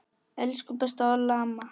Elsku besta Olla amma.